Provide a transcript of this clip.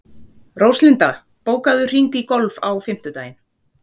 Róslinda, bókaðu hring í golf á fimmtudaginn.